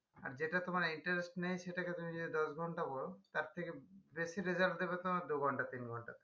আর যেটা তোমার interest নেই সেটাকে তুমি যদি দশ ঘন্টা পড়ো তার থেকে বেশি result দেবে তোমার দু ঘন্টা তিন ঘন্টা